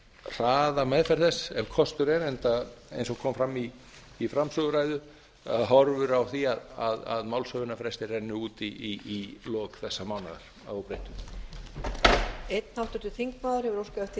hraða meðferð þess ef kostur er enda eins og kom fram í framsöguræðu að hefur á því að málshöfðunarfrestir renni út í lok þessa mánaðar að óbreyttu